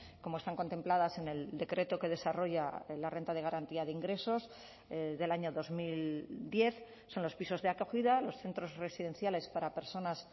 como están contempladas en el decreto que desarrolla la renta de garantía de ingresos del año dos mil diez son los pisos de acogida los centros residenciales para personas